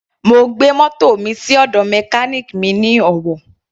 Mo gbé mótò mi sí ọ̀dọ̀ mechanic mi ní Owo.